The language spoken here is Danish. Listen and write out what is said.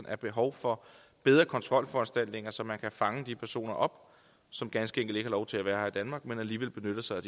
er behov for bedre kontrolforanstaltninger så man kan fange de personer op som ganske enkelt ikke har lov til at være her i danmark men alligevel benytter sig